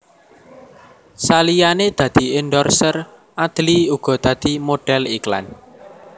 Saliyané dadi endorser Adly uga dadi modhél iklan